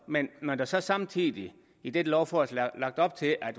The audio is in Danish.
men når der så samtidig i dette lovforslag er lagt op til at